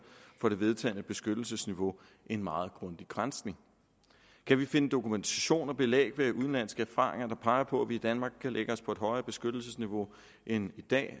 for det vedtagne beskyttelsesniveau en meget grundig granskning kan vi finde dokumentation og belæg i udenlandske erfaringer der peger på at vi i danmark kan lægge os på et højere beskyttelsesniveau end i dag